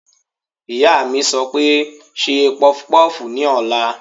Ìyá mi sọ pé "ṣe pọpọ́fùù ní ọ̀la!"